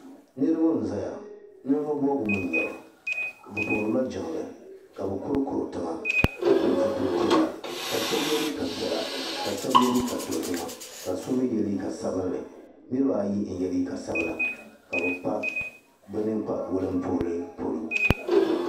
Niriba n zaya ninvuɣ'bɔbigu mii n nyɛba bɛ puhirila jiŋli ka bɛ kurkurtiŋa ka pili zipili piɛla ka shabi ye liiga piɛla ka shɛb ye liiga dozima ka so mii ye liiga sabinli niriba ayi n ye liiga sabila ka bɛ kpa bɛ ninkpa wulinpuhuli polo